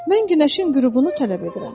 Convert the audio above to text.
Mən günəşin qürubunu tələb edirəm.